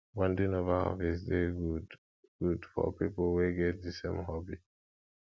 bonding over hobbies de good good for pipo wey get di same hobby